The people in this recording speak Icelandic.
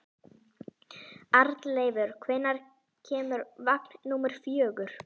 Arnleifur, hvenær kemur vagn númer fjögur?